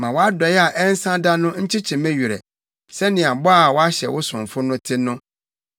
Ma wʼadɔe a ɛnsa da no nkyekye me werɛ sɛnea bɔ a woahyɛ wo somfo no te no.